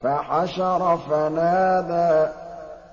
فَحَشَرَ فَنَادَىٰ